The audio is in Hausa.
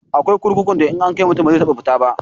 Akwai kurkukun da idan an kai mutum ba zai taba fita ba.